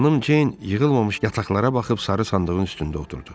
Xanım Ceyn yığılmamış kartoflara baxıb sarı sandığın üstündə oturdu.